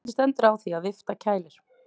Hvernig stendur á því að vifta kælir?